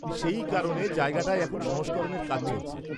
-সেই কারণে জায়গাটায় এখন সংস্করণের কাজ চলছে।